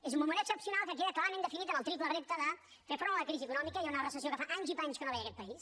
és un moment excepcional que queda clarament definit en el triple repte de fer front a la crisi econòmica hi ha una recessió que fa anys i panys que no veia aquest país